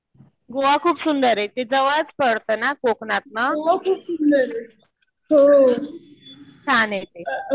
गोवा खूप सुंदर आहे. ते जवळच पडतं ना कोकणात ना. छान आहे ते.